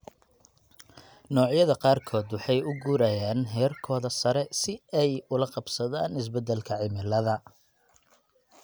Noocyada qaarkood waxay u guurayaan heerkooda sare si ay ula qabsadaan isbeddelka cimilada.